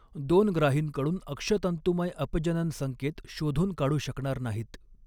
दोन ग्राहींकडून अक्षतंतूमय अपजनन संकेत शोधून काढू शकणार नाहीत.